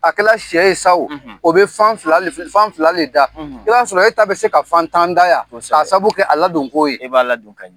A kɛla sɛ ye sa ooo? O bɛ fan filali fi fi fan fila le da; I b'a sɔrɔ e ta bɛ se ka fan tan da yan; Kosɛbɛ; Ka sabu kɛ a ladon k' ye; I b'a ladon ka ɲɛ